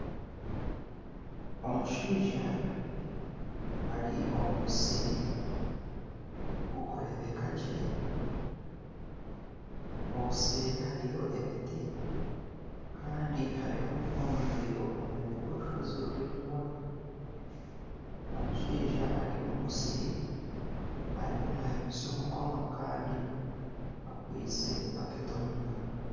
Omushaija ari omu musiri gurikureebekagye obuseeri hariyo ebiti Kandi hariyo omwanya gw'orushozi ruraingwa ,omushaija ari omu musiri ariyo nayimutsya omukono Kandi akwaitse ebaketi omu ngaro.